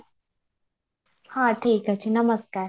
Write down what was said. ହଁ ଠିକ ଅଛି ନମସ୍କାର